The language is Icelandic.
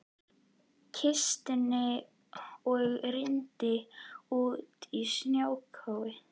kistuna og rýndi út í snjókófið.